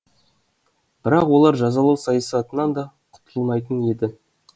бірақ олар жазалау саясатынан да құтылмайтын еді